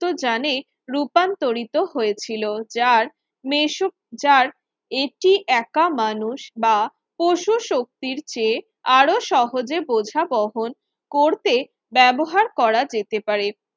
তো যানে রূপান্তরিত হয়েছিল যার মেসুক যার এটি একা মানুষ বা পশু শক্তির চেয়ে আরও সহজে বোঝা বহন করতে ব্যবহার করা যেতে পারে